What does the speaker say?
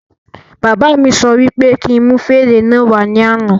Bàbá mí sọ wí pé kí n mú fèrè náà wà ní àna